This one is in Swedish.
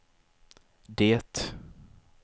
det